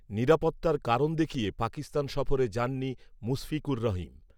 নিরাপত্তার কারণ দেখিয়ে পাকিস্তান সফরে যাননি মুশফিকুর রহিম